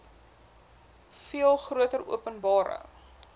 veel groter openbare